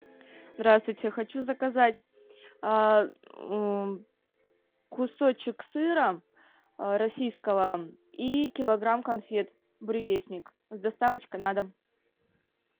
здравствуйте хочу заказать кусочек сыра российского и килограмм конфет буревестник с доставочкой на дом